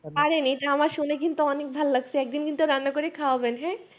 আরে নেয় এটা আমার শুনে অনেক ভালো ভাল্লাগছে একদিন কিন্তু রান্না করে খাওয়াবেন